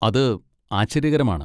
അത് ആശ്ചര്യകരമാണ്!